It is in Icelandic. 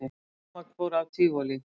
Rafmagn fór af Tívolí